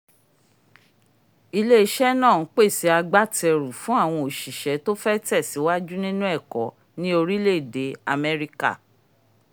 ilé-iṣẹ́ náà n pèsè agbátẹrù fún àwọn oṣiṣẹ́ tó fẹ́ tẹ̀síwájú nínú ẹ̀kọ́ ni orílẹ̀-èdè amẹ́ríkà